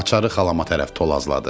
Açaarı xalama tərəf tolazladı.